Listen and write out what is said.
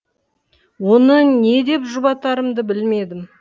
оны не деп жұбатарымды білмедім